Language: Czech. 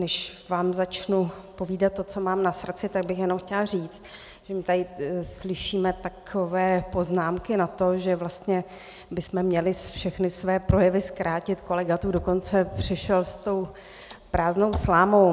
Než vám začnou povídat to, co mám na srdci, tak bych jenom chtěla říct, že tady slyšíme takové poznámky na to, že vlastně bychom měli všechny své projevy zkrátit, kolega tu dokonce přišel s tou prázdnou slámou.